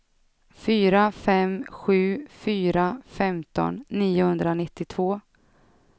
fyra fem sju fyra femton niohundranittiotvå